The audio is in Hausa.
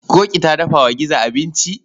Ƙoƙi ta dafa wa gizo abinci.